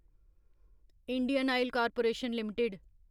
Indian Oil Corporation limited